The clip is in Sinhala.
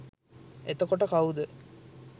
එතකොට කවුද